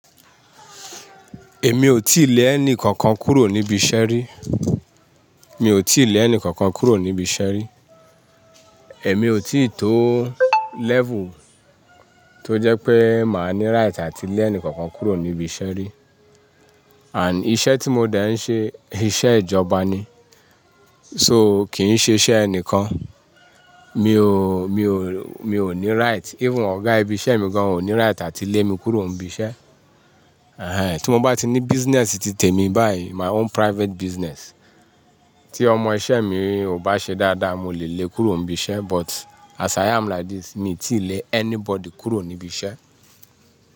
Èmi ò tíì lé ẹni kankan kúrò níbi iṣẹ́ rí. Mi ò tíì lé ẹni kankan kúrò níbi iṣẹ́ rí. Èmi ò tíì tó level tó jẹ́ pé màá ní right àti lé ẹni kankan kúrò níbi iṣẹ́ rí. And iṣẹ́ tí mo dẹ̀ ń ṣe, iṣẹ́ ìjọba ni. So kì í ń ṣe iṣẹ́ ẹnìkan. Mi ò, mi ò, mi ò ní right. Even ọ̀gá ibi iṣẹ́ mi gan ò ní right àti lé mi kúrò níbi iṣẹ́. Ehen, tí mo bá ti ní business titè mi báyìí, my own private business, tí ọmọ iṣẹ́ mi ò bá ṣe dáadáa, mo lè lé e kúrò níbi iṣẹ́. But as i am like this, mi ò tíì lé anybody kúrò níbi iṣẹ́.